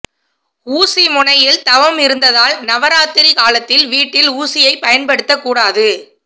ஊசி முனையில் தவம் இருந்ததால் நவராத்திரி காலத்தில் வீட்டில் ஊசியை பயன்படுத்தக்கூடாது